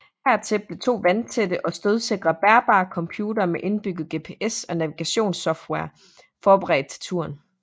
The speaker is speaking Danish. Hertil blev to vandtætte og stødsikre bærbare computere med indbygget GPS og navigationssoftware forberedt til turen